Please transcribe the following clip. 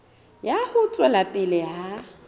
ya ho tswela pele ha